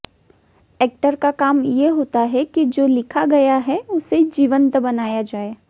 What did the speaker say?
actor का काम ये होता है कि जो लिखा गया है उसे जीवंत बनाया जाए